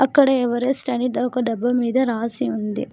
అక్కడ ఎవరెస్ట్ అని ఒక డబ్బా మీద రాసి ఉంది.